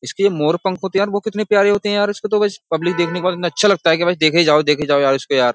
इसके मोर पंख होते हैं वो कितने प्यारे होते हैं यार इसके तो गाइस । पब्लिक देखने के बाद इन्हें अच्छा लगता है कि देखे जाओ देखे जाओ इसको यार।